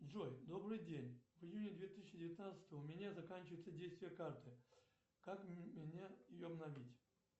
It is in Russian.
джой добрый день в июне две тысячи девятнадцатого у меня заканчивается действие карты как мне ее обновить